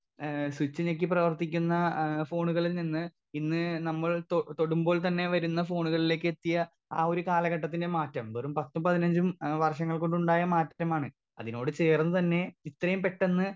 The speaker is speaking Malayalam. സ്പീക്കർ 2 ഏ സ്വിച്ച് ഞെക്കി പ്രവർത്തിക്കുന്ന ഏ ഫോണുകളിൽ നിന്ന് ഇന്ന് നമ്മൾ തൊ തൊടുമ്പോൾ തന്നെ വരുന്ന ഫോണുകളിലേക്ക് എത്തിയ ആ ഒരു കാലഘട്ടത്തിന്റെ മാറ്റം വെറും പത്തും പതിനഞ്ചും ഏ വർഷങ്ങൾ കൊണ്ടുണ്ടായ മാറ്റമാണ് അതിനോട് ചേർന്ന് തന്നെ ഇത്രേം പെട്ടെന്ന്.